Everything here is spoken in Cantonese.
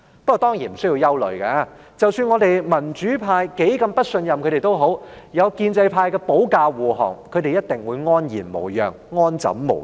不過，當然無須憂慮，即使我們民主派多麼不信任他們，有建制派保駕護航，他們一定會安然無恙、安枕無憂。